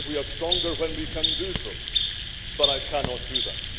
I believe we are stronger when we can do so, but I cannot do that.